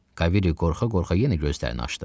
Kaviri qorxa-qorxa yenə gözlərini açdı.